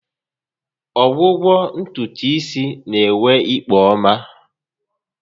Ọgwụgwọ ntutu isi n'enwe ikpo ọma